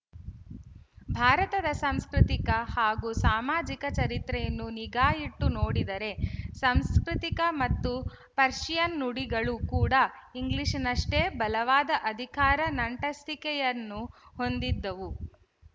ಭಾರತದ ಸಾಂಸ್ಕೃತಿಕ ಹಾಗೂ ಸಾಮಾಜಿಕ ಚರಿತ್ರೆಯನ್ನು ನಿಗಾಯಿಟ್ಟು ನೋಡಿದರೆ ಸಂಸ್ಕೃತಿಕ ಮತ್ತು ಪರ್ಶಿಯನ್ ನುಡಿಗಳು ಕೂಡ ಇಂಗ್ಲಿಶಿನಷ್ಟೇ ಬಲವಾದ ಅಧಿಕಾರ ನಂಟಸ್ತಿಕೆಯನ್ನು ಹೊಂದಿದ್ದವು